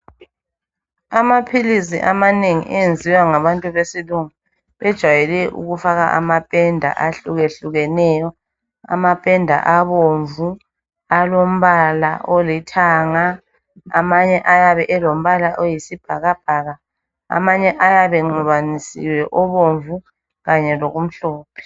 Amaphilizi amanengi ayenziwe ngabantu besilungu bejwayele ukufaka amapenda ahlukehlukeneyo amapenda abomvu alombala olithanga amanye ayabe elombala oyisibhakabhaka amanye ayabe enxibanisiwe obomvu kanye lokumhlophe.